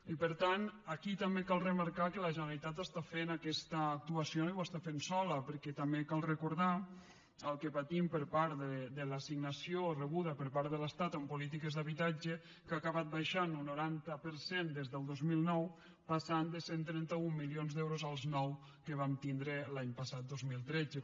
i per tant aquí també cal remarcar que la generalitat està fent aquesta actuació i ho està fent sola perquè també cal recordar el que patim per part de l’assignació rebuda per part de l’estat en polítiques d’habitatge que ha acabat baixant un noranta per cent des del dos mil nou passant de cent i trenta un milions d’euros als nou que vam tindre l’any passat dos mil tretze